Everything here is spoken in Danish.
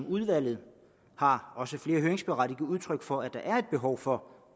udvalget har også flere høringsberettigede udtryk for at der er et behov for